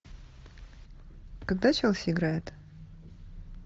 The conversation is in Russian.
когда челси играет